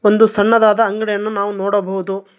ಒಂದು ಸಣ್ಣದಾದ ಅಂಗಡಿಯನ್ನು ನಾವು ನೋಡಬಹುದು.